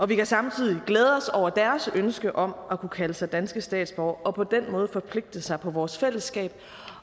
vi kan samtidig glæde os over deres ønske om at kunne kalde sig danske statsborgere og på den måde forpligte sig på vores fællesskab